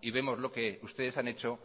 y vemos lo que ustedes han hecho